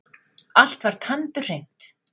Allt var tandurhreint.